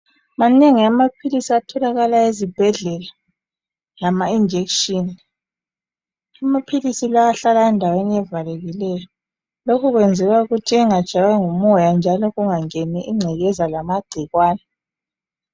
Manengi amaphilisi atholakala ezibhedlela lama injection. Amaphilisi lawa ahlala endaweni evalekileyo lokhu kwenziwa ukuthi engatshaywa ngumoya njalo kungangeni ingcekeza lamagcikwane.